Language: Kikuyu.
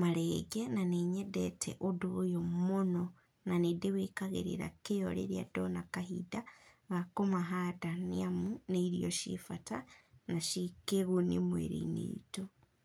marenge na nĩnyendete ũndũ ũyũ mũno, na nindĩ wĩkagĩrĩra kĩo rĩrĩa ndona kahinda ga kũmahanda nĩamu, nĩ irio ciĩ bata na ciĩkĩguni mĩrĩinĩ itũ.